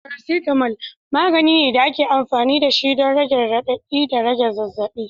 Paracetamol, magani ne da ake amfani da shi don rage radadi da rage zazzabi.